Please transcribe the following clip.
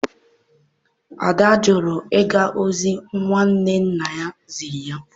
Ada jụrụ ịga ozi nwunye nna ya ziri ya.